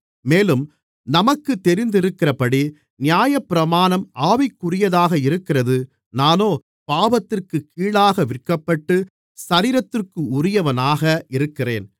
மேலும் நமக்குத் தெரிந்திருக்கிறபடி நியாயப்பிரமாணம் ஆவிக்குரியதாக இருக்கிறது நானோ பாவத்திற்குக் கீழாக விற்கப்பட்டு சரீரத்திற்குரியவனாக இருக்கிறேன்